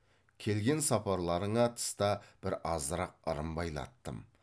келген сапарларыңа тыста бір азырақ ырым байлаттым